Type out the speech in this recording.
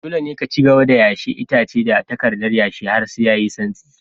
Dole ne ka cigaba da yashe itace da takardar yashe har sai yayi santsi.